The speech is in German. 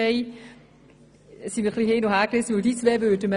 Deshalb sind wir etwas hin- und hergerissen.